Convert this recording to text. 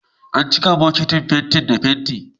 An cika bukitin fenti da fenti